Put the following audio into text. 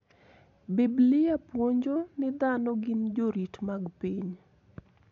Biblia puonjo ni dhano gin jorit mag piny.